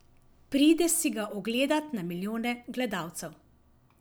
Pride si ga ogledat na milijone gledalcev.